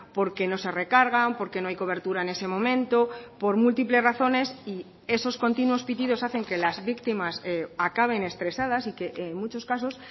porque no se recargan porque no hay cobertura en ese momento por múltiples razones y esos continuos pitidos hacen que las víctimas acaben estresadas y que en muchos casos